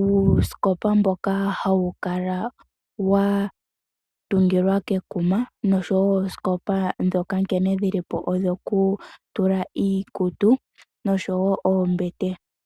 uusikopa mboka hawukala wa tungilwa kekuma, noshowoo oosikopa ndhoka nkene dhilipo odho kutula iikutu, noshowoo oombete.